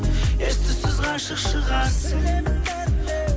ес түссіз ғашық шығарсың